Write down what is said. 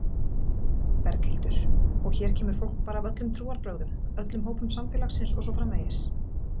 Berghildur: Og hér kemur fólk bara af öllum trúarbrögðum, öllum hópum samfélagsins og svo framvegis?